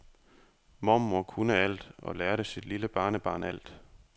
Mormor kunne alt og lærte sit lille barnebarn alt.